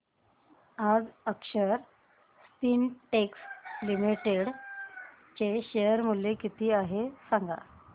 आज अक्षर स्पिनटेक्स लिमिटेड चे शेअर मूल्य किती आहे सांगा